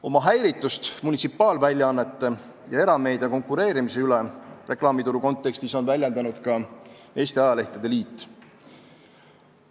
Oma häiritust munitsipaalväljaannete ja erameedia konkureerimise tõttu reklaamituru kontekstis on väljendanud ka Eesti Ajalehtede Liit.